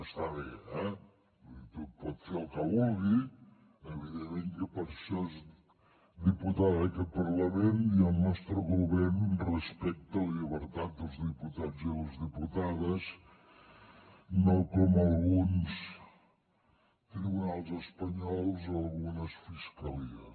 està bé eh vull dir que pot fer el que vulgui evidentment que per això és diputada d’aquest parlament i el nostre govern respecta la llibertat dels diputats i les diputades no com alguns tribunals espanyols o algunes fiscalies